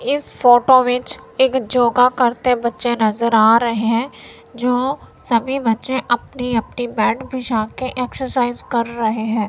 इस फोटो बीच एक योगा करते बच्चे नजर आ रहे हैं जो सभी बच्चे अपनी अपनी मैट बिछा के एक्सरसाइज कर रहे हैं।